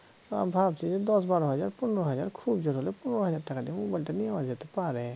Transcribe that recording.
ভাবছি দশ বারো হাজার পনেরো হাজার খুব জোর হলে পনেরো হাজার টাকা দিয়ে মোবাইলটা নেওয়া যেতে পারে